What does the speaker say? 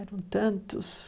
Eram tantos.